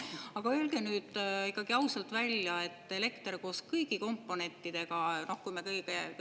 Aga öelge nüüd ausalt välja, et elekter koos kõigi komponentidega, kõige-kõige sellega …